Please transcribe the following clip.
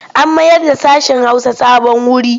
An mayarda sashen Hausa sabon wuri.